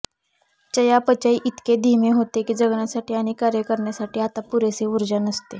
चयापचय इतके धीमे होते की जगण्यासाठी आणि कार्य करण्यासाठी आता पुरेसे ऊर्जा नसते